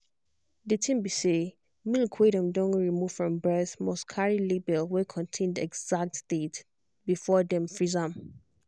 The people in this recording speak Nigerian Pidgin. the thing be say milk wey them don remove from breast must carry label wey contain the exact date before dem freeze am.